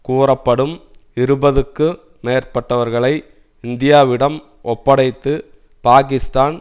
கூறப்படும் இருபதுக்கு மேற்பட்டவர்களை இந்தியாவிடம் ஒப்படைத்து பாகிஸ்தான்